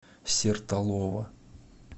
сертолово